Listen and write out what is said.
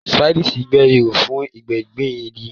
Spades gbẹ́ ihò fún gbígbin igi.